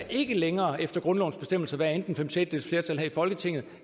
ikke længere efter grundlovens bestemmelser skal være enten fem sjettedeles flertal her i folketinget